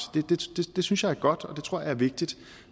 det synes jeg er godt og det tror jeg er vigtigt